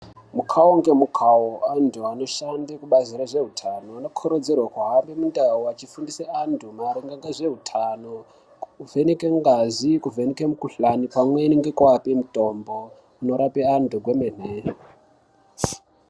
Mukawo ngemukawo antu anodhande kubazi rezveutano anokurudzirwe kuhambe mundau achifundise antu maringe ngezveutano achivheneke ngazi kuvheneke mukhuhlani pamweni ngekuape mutombo inorape antu kwemene.